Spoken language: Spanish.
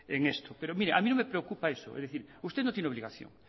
en esto pero mire a mí no me preocupa eso es decir usted no tiene obligación